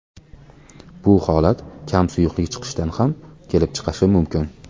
Bu holat kam suyuqlik ichishdan ham kelib chiqishi mumkin.